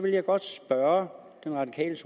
jeg godt spørge den radikale